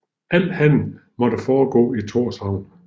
Al handel måtte foregå i Tórshavn